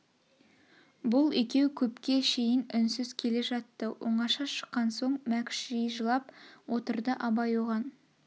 бұл екеу көпке шейін үнсіз келе жатты оңаша шыққан соң мәкш жи жылап отырды абай оған